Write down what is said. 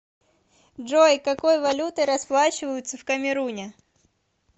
джой какой валютой расплачиваются в камеруне